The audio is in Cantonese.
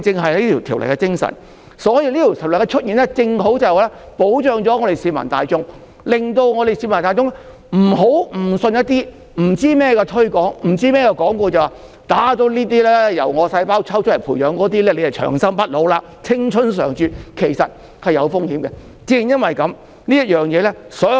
所以，《條例草案》的出現正好保障市民大眾，令大家不會誤信不知所云的推廣和廣告，以為注入那些由自身細胞培養的製品就會長生不老、青春常駐，而其實此舉是有風險的。